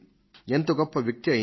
ఎంత గొప్ప వ్యక్తి అయినా